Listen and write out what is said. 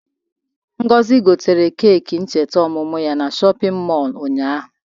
Ngozi gotere keeki ncheta ọmụmụ ya na shọpịn mọọlụ ụnyaahụ.